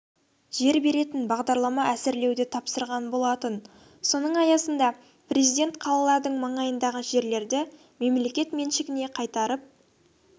жер беретін бағдарлама әзірлеуді тапсырған болатын соның аясында президент қалалардың маңайындағы жерлерді мемлекет меншігіне қайтарып